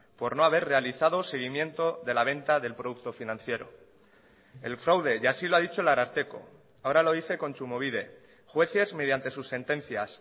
por no haber realizado seguimiento de la venta del producto financiero el fraude y así lo ha dicho el ararteko ahora lo dice kontsumobide jueces mediante sus sentencias